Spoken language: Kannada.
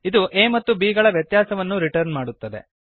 ಇದು a ಮತ್ತು b ಗಳ ವ್ಯತ್ಯಾಸವನ್ನು ರಿಟರ್ನ್ ಮಾಡುತ್ತದೆ